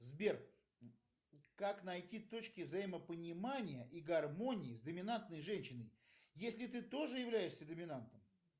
сбер как найти точки взаимопонимания и гармонии с доминантной женщиной если ты тоже являешься доминантом